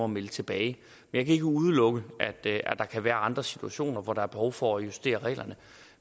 melde tilbage jeg kan ikke udelukke at der kan være andre situationer hvor der er behov for at justere reglerne